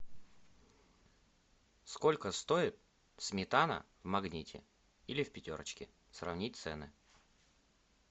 сколько стоит сметана в магните или в пятерочке сравнить цены